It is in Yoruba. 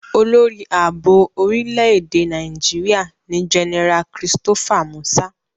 Olórí Ààbò orílẹ̀-èdè Nàìjíríà ni Jẹ́nẹ́rà Christopher Musa.